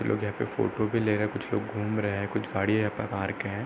लोग यहाँ पे फोटो ले रहे हैं। कुछ लोग घुम रहे हैं। कुछ गाड़ी यहाँ पे पार्क हैं।